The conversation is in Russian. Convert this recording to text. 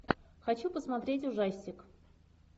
хочу посмотреть ужастик